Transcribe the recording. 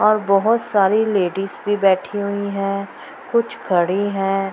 और बहुत सारे लेडिस भी बैठी हुई हैं कुछ खड़ी हैं।